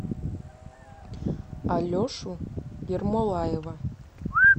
алешу ермолаева